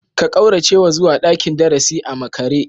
Ka kauracewa zuwa dakin darasi a makare?